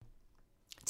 TV 2